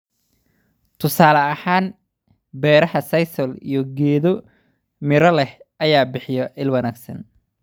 Tusaale ahaan, beeraha sisal iyo geedo midho leh ayaa bixiya il wanaagsan